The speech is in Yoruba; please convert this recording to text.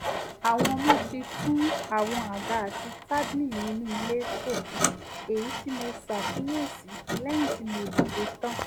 àwọn ọmọ ti tún àwọn àga àti tábílì inú ilé tò èyí tí mo ṣàkíyèsí lẹ́yìn tí mo dìde tán